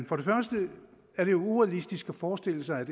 for det første er det urealistisk at forestille sig at